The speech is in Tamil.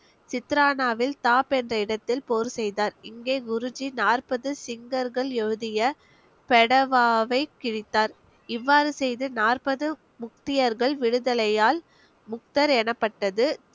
என்ற இடத்தில் போர் செய்தார் இங்கே குருஜி நாற்பது சிங்கர்கள் எழுதிய ஃபெடவாவை கிழித்தார் இவ்வாறு செய்து நாற்பது முக்தியர்கள் விடுதலையால் முக்தர் எனப்பட்டது